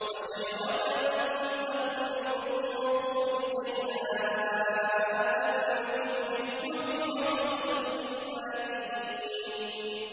وَشَجَرَةً تَخْرُجُ مِن طُورِ سَيْنَاءَ تَنبُتُ بِالدُّهْنِ وَصِبْغٍ لِّلْآكِلِينَ